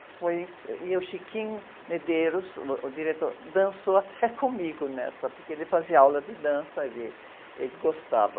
Foi, e o Chiquinho Medeiros, o diretor, dançou até comigo nessa, porque ele fazia aula de dança e ele, ele gostava.